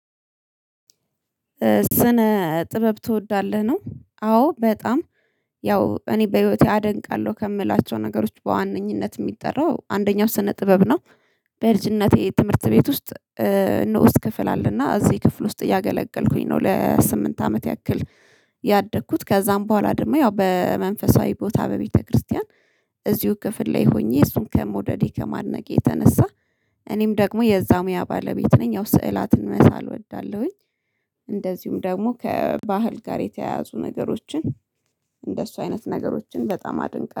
ስነ ጥበብ ትወዳለህ ነው? አዎ በጣም ያው እኔ በህይወቴ አደንቃለሁ ከምላቸው ነገሮች በዋነኝነት የሚጠራው አንደኛው ስነ ጥበብ ነው። በልጅነቴ ትምህርት ቤት ውስጥ ንዑስ ክፍል አለና እዚህ ክፍል ውስጥ እያገለገልኩኝ ነው ለስምንት አመት ያክል። ያደግኩት ከዛም በኋላ ደግሞ ያው በመንፈሳዊ ቦታ በቤተክርስቲያን እዚሁ ክፍል ላይ ሆኜ እሱን ከመውደዴ ከማድነቅ የተነሳ። እኔም ደግሞ የዛሙያ ባለቤት ነኝ ያው ስዕላትን መሳል እወዳለሁኝ። እንደዚሁም ደግሞ ከባህል ጋር የተያያዙ ነገሮችን እንደሱ አይነት ነገሮችን በጣም አደንቃለሁ